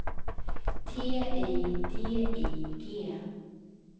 T I D I G